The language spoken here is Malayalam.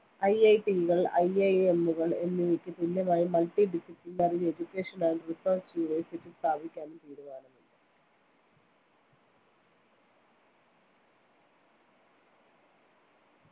IIT കള്‍ IIM കള്‍ എന്നിവയ്ക്ക് തുല്യമായി multi disciplinary education and research university കള്‍ സ്ഥാപിക്കാനും തീരുമാനമുണ്ട്